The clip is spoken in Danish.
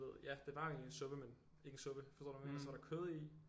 Ja det var jo egentlig en suppe men ikke en suppe forstår du hvad jeg mener og så var der kød i